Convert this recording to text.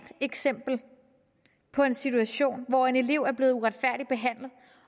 eksempel på en situation hvor en elev er blevet uretfærdigt behandlet